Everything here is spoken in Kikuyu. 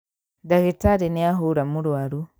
Ndagĩtarĩ nĩahũra mũrwaru